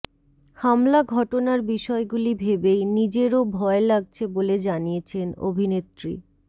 হামলা ঘটনার বিষয়গুলি ভেবেই নিজেরও ভয় লাগছে বলে জানিয়েছেন অভিনেত্রী